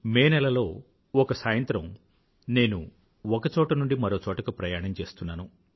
మేనెలలో ఒక సాయంత్రం నేను ఒక చోట నుండి మరోచోటకు ప్రయాణం చేస్తున్నాను